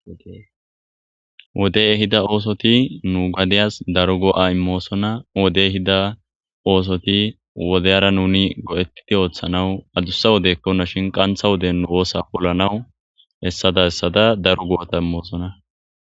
Wodeye hida oosoti nu gadeyas daro goo7a immoosona wodey hida oosoti wodeyara nuni go7etiti ooththanawu adussa wodekkona shin qantha wode nu oosa pollanawu hessada hessada daro go7ota immoosona